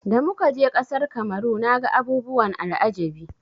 Da muka je ƙasar Kamaru naga abubuwan al'ajabi.